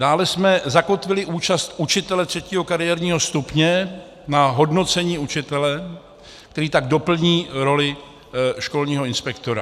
Dále jsme zakotvili účast učitele třetího kariérního stupně na hodnocení učitele, který tak doplní roli školního inspektora.